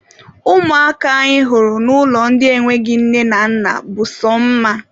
Ụmụaka anyị hụrụ n'ụlọ ndị enweghị nne na nna bụ sọ mma.